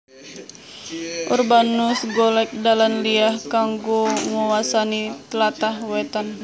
Urbanus golek dalan liya kanggo nguwasani tlatah wetan